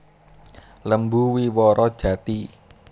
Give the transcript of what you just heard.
Lembu Wiworo Jati